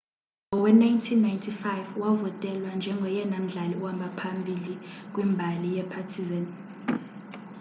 ngowe-1995 wavotelwa njengoyena mdlali uhamba phambili kwimbali yepartizan